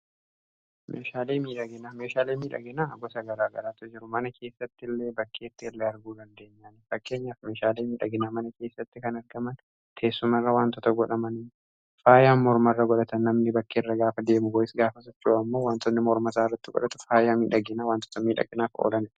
meeshaalee miidhaginaa gosa garaagaraatu jiru. mana keessatti illee bakkeettille arguu dandeenyaa. fakkeenyaaf meeshaalee miidhaginaa mana keessatti kan argaman teessumarra wantoota godhaman faayaan mormarra godhataman namni bakkeerra gaafa deemu bo'is gaafa safiru ammoo wantoonni mormasaa irratti godhata faayaa miidhaginaa wantoota miidhagginaaf oolan